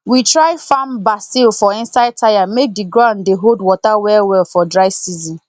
we try farm basil for inside tyre make the ground dey hold water well well for dry season